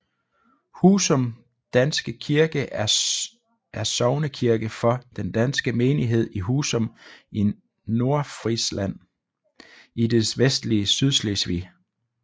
Husum danske kirke er sognekirke for den danske menighed i Husum i Nordfrisland i det vestlige Sydslesvig